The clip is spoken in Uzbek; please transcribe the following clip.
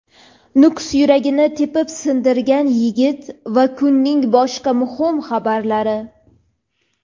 Nukus "yuragi"ni tepib sindirgan yigit va kunning boshqa muhim xabarlari.